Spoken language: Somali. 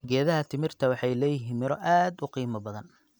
Geedaha timirta waxay leeyihiin miro aad u qiimo badan.